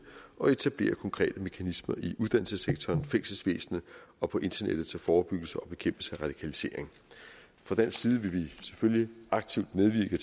og etablere konkrete mekanismer i uddannelsessektoren fængselsvæsenet og på internettet til forebyggelse og bekæmpelse af radikalisering fra dansk side vil vi selvfølgelig aktivt medvirke i